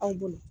Anw bolo